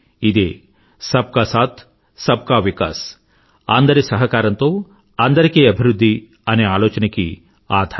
ఇదే సబ్ కా సాథ్ సబ్ కా వికాస్ అందరి సహకారంతో అందరికీ అభివృధ్ధి అనే ఆలోచనకి ఆధారం